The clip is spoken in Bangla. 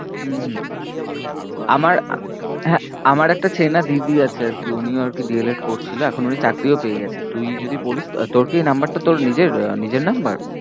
হম হম আমার হ্যাঁ আমার একটা চেনা দিদি আছে আর কি উনিও আর কি D. el. ed করছিল এখন উনি চাকরিও পেয়ে গেছে, তুই যদি বলিস, তোর কি এই number টা তোর নিজের আহ নিজের number?